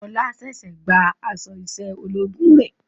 Ọlá ṣẹ̀ṣẹ̀ gba aṣọ iṣẹ́ ológun rẹ̀